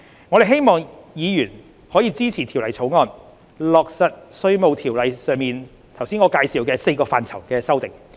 我希望議員支持《條例草案》，落實我上述介紹《稅務條例》4個範疇的修訂。